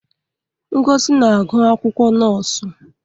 Ngozi na-agụ akwụkwọ nọọsụ.